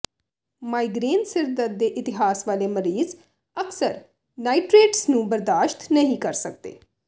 migraine ਸਿਰ ਦਰਦ ਦੇ ਇਤਿਹਾਸ ਵਾਲੇ ਮਰੀਜ਼ ਅਕਸਰ ਨਾਈਟ੍ਰੇਟਸ ਨੂੰ ਬਰਦਾਸ਼ਤ ਨਹੀਂ ਕਰ ਸਕਦੇ